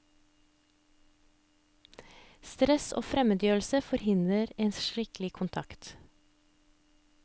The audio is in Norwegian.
Stress og fremmedgjørelse forhindrer en skikkelig kontakt.